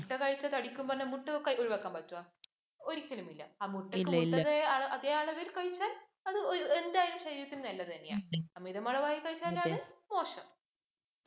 മുട്ട കഴിച്ചാല്‍ തടിക്കും പറഞ്ഞാല്‍ മുട്ട ഒഴിവാക്കാന്‍ പറ്റോ? ഒരിയ്ക്കലും ഇല്ല. മുട്ട അതേ അളവില്‍ കഴിച്ചാല്‍ ഏതായാലും ശരീരത്തിന് നല്ലത് തന്നെയാ. അമിതമളവില്‍ കഴിച്ചാലാണ് മോശം